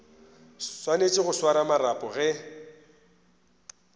swanetše go swara marapo ge